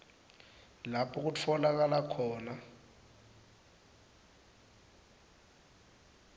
lapho kutfolakala khona